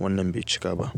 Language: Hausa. wannan bai cika ba.